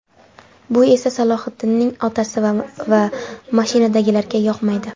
Bu esa Salohiddinning otasi va mashinadagilarga yoqmaydi.